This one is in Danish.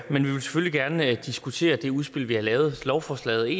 vil selvfølgelig gerne diskutere det udspil vi har lavet lovforslaget